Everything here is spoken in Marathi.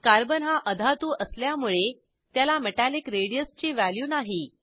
कार्बन हा अधातू असल्यामुळे त्याला मेटॅलिक रेडियस ची व्हॅल्यू नाही